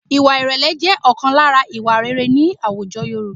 Ìwà ìrẹ̀lẹ̀ jẹ́ ọ̀kan lára ìwà rere ní àwùjọ Yorùbá